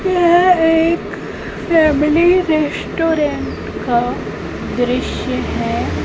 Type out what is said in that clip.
यह एक family restaurant का दृश्य है।